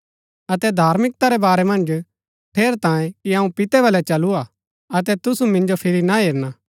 अतै धार्मिकता रै बारै मन्ज ठेरैतांये कि अऊँ पितै बलै चलू हा अतै तुसु मिन्जो फिरी ना हेरना